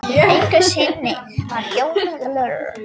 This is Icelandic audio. Einhverju sinni var Jón Þorvaldsson á ferð til Blönduóss.